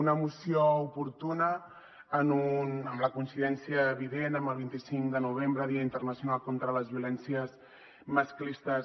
una moció oportuna amb la coincidència evident amb el vint cinc de novembre dia internacional contra les violències masclistes